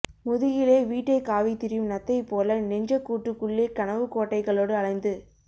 முதுகிலே வீட்டைக் காவித் திரியும் நத்தை போல நெஞ்சக் கூட்டுக்குள்ளே கனவுக் கோட்டைகளோடு அலைந்து